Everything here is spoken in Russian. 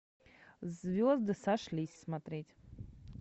звезды сошлись смотреть